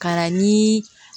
Ka na ni